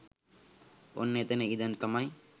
ඔන්න එතන ඉඳන් තමයි